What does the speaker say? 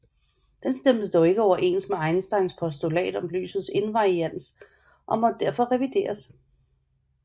Den stemte dog ikke overens med Einsteins postulat om lysets invariants og måtte derfor revideres